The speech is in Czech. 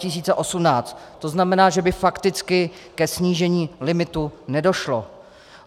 To znamená, že by fakticky ke snížení limitu nedošlo.